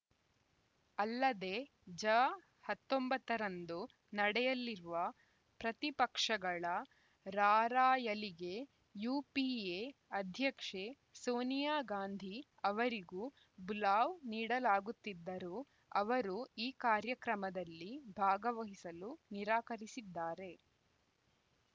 ಅಲ್ಲದೆ ಜ ಹತ್ತೊಂಬತ್ತರಂದು ನಡೆಯಲಿರುವ ಪ್ರತಿಪಕ್ಷಗಳ ರಾರ‍ಯಲಿಗೆ ಯುಪಿಎ ಅಧ್ಯಕ್ಷೆ ಸೋನಿಯಾ ಗಾಂಧಿ ಅವರಿಗೂ ಬುಲಾವ್‌ ನೀಡಲಾಗುತ್ತಿದರೂ ಅವರು ಈ ಕಾರ್ಯಕ್ರಮದಲ್ಲಿ ಭಾಗವಹಿಸಲು ನಿರಾಕರಿಸಿದ್ದಾರೆ